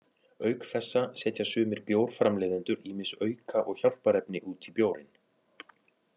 Auk þessa setja sumir bjórframleiðendur ýmis auka- og hjálparefni út í bjórinn.